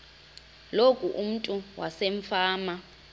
loku umntu wasefama